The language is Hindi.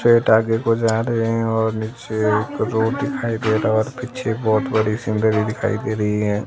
फेट आगे को जा रहे हैं और नीचे के रोड दिखाई दे रहा और पीछे बहुत बड़ी सीनरी दिखाई दे रही है।